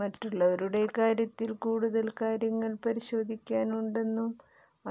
മറ്റുള്ളവരുടെ കാര്യത്തിൽ കൂടുതൽ കാര്യങ്ങൾ പരിശോധിക്കാനുണ്ടെന്നും